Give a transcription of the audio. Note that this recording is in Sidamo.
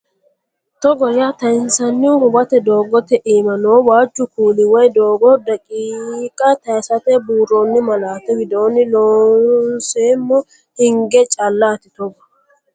Togo yaa tayinsannihu Huwato doogote iima noo waajju kuuli woy doogo daqiiqa taysate buurroonni malaati widoonni Loonseemmo hinge callaati Togo.